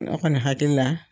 Ne kɔni hakili la